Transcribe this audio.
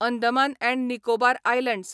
Andaman and Nicobar islands